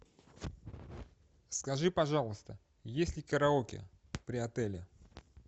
скажи пожалуйста есть ли караоке при отеле